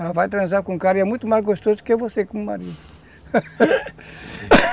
Ela vai transar com um cara e é muito mais gostoso que você como marido